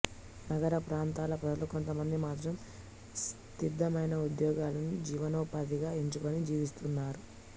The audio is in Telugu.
నగరప్రాంతాల ప్రజలు కొంతమంది మాత్రం స్థిరమైన ఉద్యోగాలను జీవనోపాధిగా ఎంచుకుని జీవిస్తున్నారు